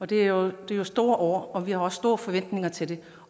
det er jo store ord og vi har også store forventninger til det